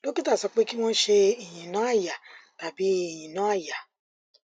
dókítà sọ pé kí wọn ṣe ìyínà àyà tàbí ìyínà àyà